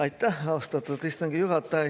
Aitäh, austatud istungi juhataja!